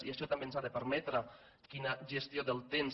i això també ens ha de permetre quina gestió del temps